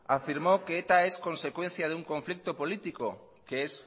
afirmó que eta es consecuencia de un conflicto político que es